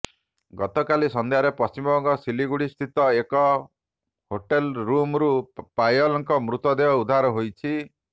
ଗତକାଲି ସନ୍ଧ୍ୟାରେ ପଶ୍ଚିମବଙ୍ଗ ସିଲିଗୁଡ଼ି ସ୍ଥିତ ଏକ ହୋଟେଲ ରୁମ୍ରୁ ପାୟଲଙ୍କ ମୃତଦେହ ଉଦ୍ଧାର ହୋଇଛି